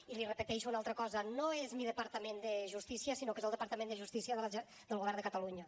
i li repeteixo una altra cosa no és mi departament de justícia sinó que és el departament de justícia del govern de catalunya